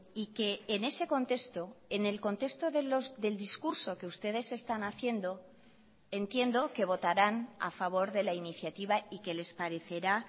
y que en ese contexto en el contexto del discurso que ustedes están haciendo entiendo que votarán a favor de la iniciativa y que les parecerá